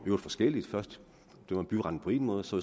øvrigt forskelligt først dømmer byretten på en måde og så